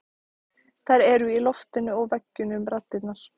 Þær eru í loftinu og veggjunum raddirnar.